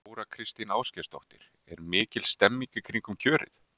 Þóra Kristín Ásgeirsdóttir: Er mikil stemning í kringum kjörið?